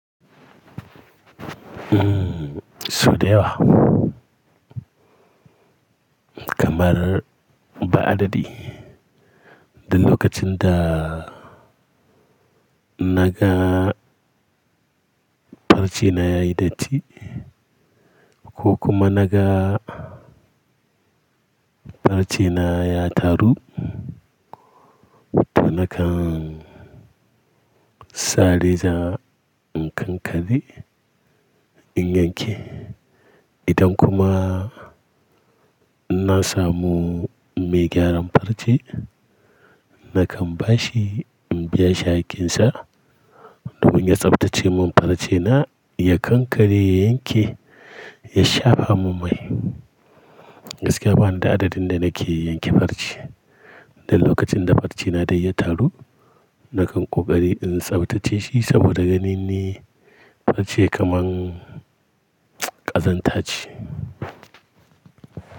Mmm Sudayawa. Kamar ba adadi, duk lokacin da naga farce na ya yi datti ko kuma naga farce na ya taru, to nakan sare za in kankare in yanke. Idan kuma na samu mai gyaran farce, nakan ba shi in biya shihaƙƙinsa domin ya tsaftace min farce na ya kankare, ya yanke, ya shafa min mai. Gaskiya bani da adadin da nake yanke farce. Duk lokacin da farce na dai ya taru, nakan ƙoƙari in tsaftace shi saboda ganin ni farce kamar ƙazanta ce.